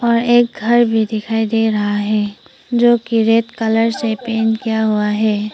और एक घर भी दिखाई दे रहा है जोकि रेड कलर से पेंट किया हुआ है।